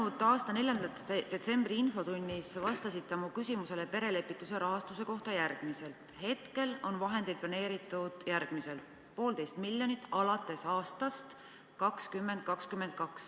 Läinud aasta 4. detsembri infotunnis te vastasite mu küsimusele perelepituse rahastuse kohta, et hetkel on vahendeid planeeritud järgmiselt: 1,5 miljonit alates aastast 2022.